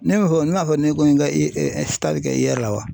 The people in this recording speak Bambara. Ne m'a fɔ n m'a fɔ ne ko ye n ka kɛ IER la wa ?